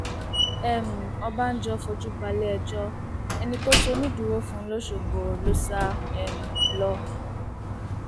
um ọbànjọ fojú balẹẹjọ ẹni tó ṣonídùúró fún lọṣọgbó ló sá um lọ